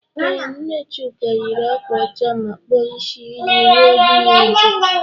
Ee, nne Chuka yiri ákwà ọcha ma kpụọ ịsị ya iji ruo dị ya uju.